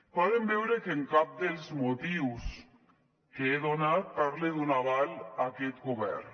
poden veure que en cap dels motius que he donat parla d’un aval a aquest govern